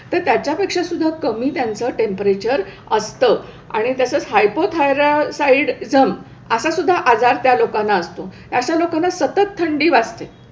तर त्याच्यापेक्षासुद्धा कमी त्यांचं टेम्परेचर असतं आणि तसंच हायपोथायरॉईडजम असा सुद्धा आजार त्या लोकांना असतो, अशा लोकांना सतत थंडी वाजते.